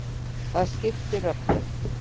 Það skiptir öllu.